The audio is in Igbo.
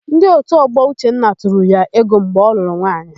Ndị òtù ọgbọ Uchenna tụrụ ya ego mgbe ọ lụrụ nwaanyị.